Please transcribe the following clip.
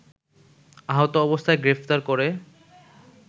আহত অবস্থায় গ্রেফতার করে